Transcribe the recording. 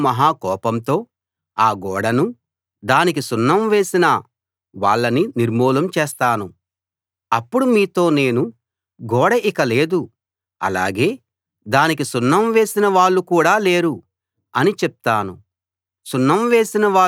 ఈ విధంగా నేను మహా కోపంతో ఆ గోడనూ దానికి సున్నం వేసిన వాళ్ళనీ నిర్మూలం చేస్తాను అప్పుడు మీతో నేను గోడ ఇక లేదు అలాగే దానికి సున్నం వేసిన వాళ్ళు కూడా లేరు అని చెప్తాను